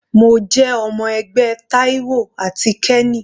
Mo jẹ́ ọmọ ẹgbẹ́ Taiwo àti kenny.